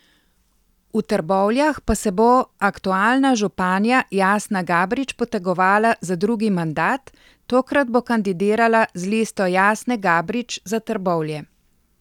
V Trbovljah pa se bo aktualna županja Jasna Gabrič potegovala za drugi mandat, tokrat bo kandidirala z listo Jasne Gabrič za Trbovlje.